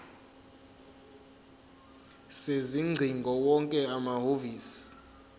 sezingcingo wonke amahhovisi